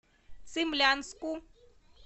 цимлянску